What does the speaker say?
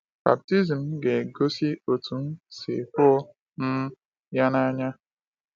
Baptizim m ga-egosi otú m si hụ um ya n’anya.